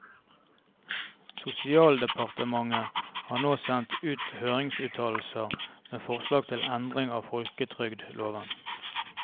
Sosialdepartementet har nå sendt ut høringsuttalelser med forslag til endring av folketrygdloven.